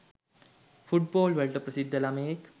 football වලට ප්‍රසිද්ධ ළමයෙක්